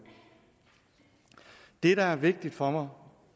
det der er vigtigt for